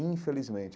Infelizmente.